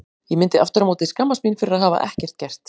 Ég myndi aftur á móti skammast mín fyrir að hafa ekkert gert.